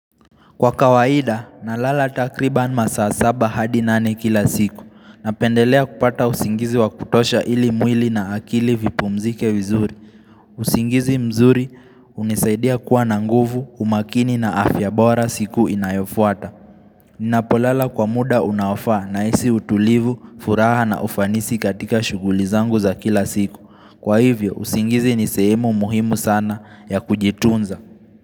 Kwa kawaida, nalala takriban masaa saba hadi nane kila siku. Napendelea kupata usingizi wa kutosha ili mwili na akili vipumzike vizuri. Usingizi mzuri hunisaidia kuwa na nguvu, umakini na afya bora siku inayofuata. Ninapolala kwa muda unaofaa nahisi utulivu, furaha na ufanisi katika shughuli zangu za kila siku. Kwa hivyo, usingizi ni sehemu muhimu sana ya kujitunza.